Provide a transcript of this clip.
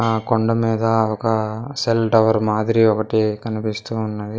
ఆ కొండ మీద ఒక సెల్ టవర్ మాదిరి ఒకటి కనిపిస్తూ ఉన్నది.